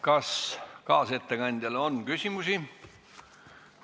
Kas kaasettekandjale on küsimusi?